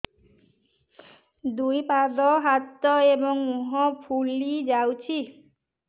ଦୁଇ ପାଦ ହାତ ଏବଂ ମୁହଁ ଫୁଲି ଯାଉଛି